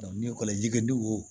ni ekɔli jike wo